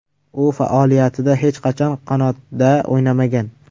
U faoliyatida hech qachon qanotda o‘ynamagan.